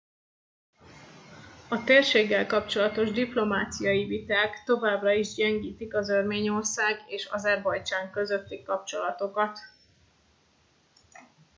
a térséggel kapcsolatos diplomáciai viták továbbra is gyengítik az örményország és azerbajdzsán közötti kapcsolatokat